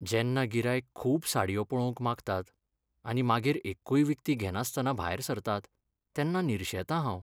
जेन्ना गिरायक खूब साडयो पळोवंक मागतात आनी मागीर एक्कूय विकती घेनासतना भायर सरतात तेन्ना निरशेतां हांव.